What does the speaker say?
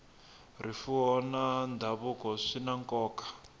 rifuwo na ndhavuko swi na nkoka